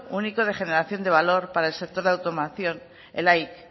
único de generación de valor para el sector de automoción el aic